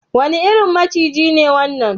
Wane irin maciji ne wannan?